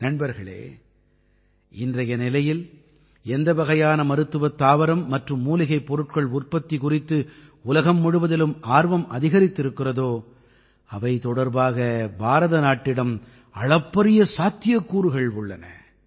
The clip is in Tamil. நண்பர்களே இன்றைய நிலையில் எந்த வகையான மருத்துவத் தாவரம் மற்றும் மூலிகைப் பொருட்கள் உற்பத்தி குறித்து உலகம் முழுவதிலும் ஆர்வம் அதிகரித்திருக்கிறதோ அவை தொடர்பாக பாரத நாட்டிடம் அளப்பரிய சாத்தியக்கூறுகள் உள்ளன